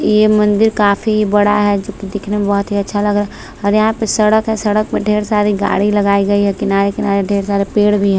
यह मंदिर काफी बड़ा है दिखने में बहुत ही अच्छा लगा और यहाँ पे सड़क है सड़क में ढेर सारी गाड़ी लगाई गयी है किनारे किनारे ढेर सारे पेड भी है।